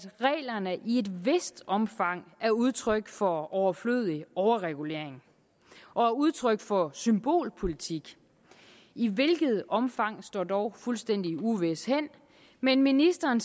reglerne i et vist omfang er udtryk for overflødig overregulering og udtryk for symbolpolitik i hvilket omfang står dog fuldstændig uvist men ministeren